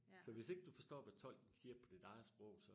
Så hvis ikke du forstår hvad tolken siger på dit eget sprog så